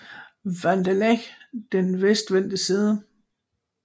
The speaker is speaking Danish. Van der Leck den vestvendte side